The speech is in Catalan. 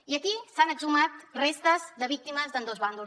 i aquí s’han exhumat restes de víctimes d’ambdós bàndols